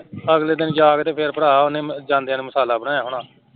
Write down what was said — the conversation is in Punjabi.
ਅਗਲੇ ਦਿਨ ਜਾਕੇ ਤੇ ਫੇਰ ਭਰਾ ਜਾਂਦਿਆਂ ਨੇ ਉਹਨੇ ਮਸਾਲਾ ਬਣਾਇਆ ਹੋਣਾ